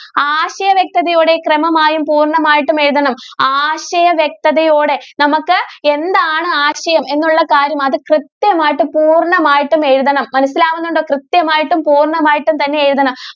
ആശയ വ്യക്തതയോടെ ക്രമമായും പൂർണ്ണമായിട്ടും എഴുതണം ആശയ വ്യക്തതയോടെ നമുക്ക് എന്താണ് ആശയം എന്നുള്ള കാര്യം അത് കൃത്യമായിട്ടും പൂർണ്ണമായിട്ടും എഴുതണം മനസിലാകുന്നുണ്ടോ കൃത്യമായിട്ടും പൂർണ്ണമായിട്ടും തന്നെ എഴുതണം.